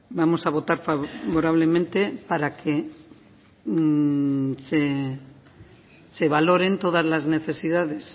vamos a votar favorablemente para que se valoren todas las necesidades